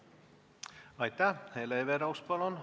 Hele Everaus, palun!